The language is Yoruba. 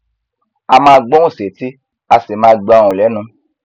a máa gbóhùn sétí a sì máa gba ohùn lẹnù